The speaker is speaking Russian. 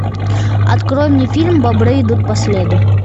открой мне фильм бобры идут по следу